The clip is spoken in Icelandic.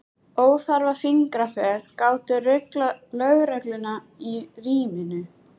Óþarfa fingraför gátu ruglað lögregluna í ríminu.